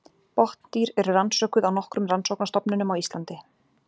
Botndýr eru rannsökuð á nokkrum rannsóknastofnunum á Íslandi.